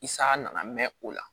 Isaa nana mɛn o la